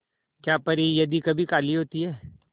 क्या परी यदि कभी काली होती है